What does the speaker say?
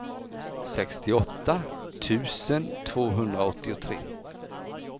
sextioåtta tusen tvåhundraåttiotre